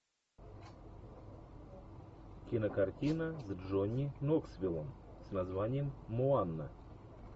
кинокартина с джонни ноксвилом с названием моана